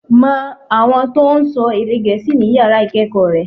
Mo àwọn tó n sọ èdè gèésì ní yàrá ìkéèkó re